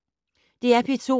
DR P2